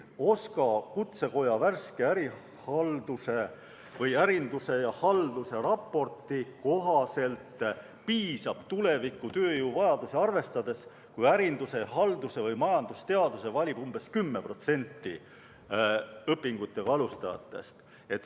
OSKA värske ärinduse ja halduse raporti kohaselt piisab tuleviku tööjõuvajadusi arvestades sellest, kui ärinduse, halduse või majandusteaduse valib umbes 10% õpingutega alustajatest.